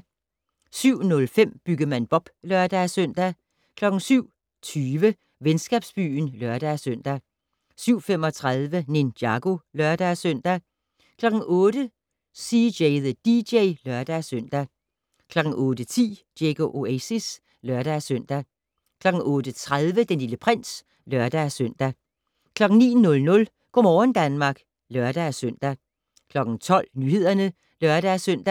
07:05: Byggemand Bob (lør-søn) 07:20: Venskabsbyen (lør-søn) 07:35: Ninjago (lør-søn) 08:00: CJ the DJ (lør-søn) 08:10: Diego Oasis (lør-søn) 08:30: Den Lille Prins (lør-søn) 09:00: Go' morgen Danmark (lør-søn) 12:00: Nyhederne (lør-søn)